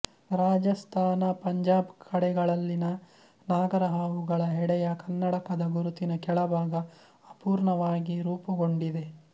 ರಾಜಸ್ಥಾನ ಪಂಜಾಬ್ ಕಡೆಗಳಲ್ಲಿನ ನಾಗರಹಾವುಗಳ ಹೆಡೆಯ ಕನ್ನಡಕದ ಗುರುತಿನ ಕೆಳಭಾಗ ಅಪೂರ್ಣವಾಗಿ ರೂಪುಗೊಂಡಿದೆ